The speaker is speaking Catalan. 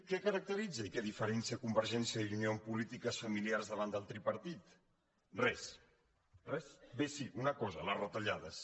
què caracteritza i què diferencia convergència i unió en polítiques familiars davant del tripartit res res bé sí una cosa les retallades